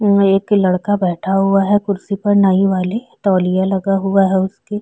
ये एक लड़का बैठा हुआ है कुर्सी पर नई वाली तौलिया लगा हुआ है उसपे --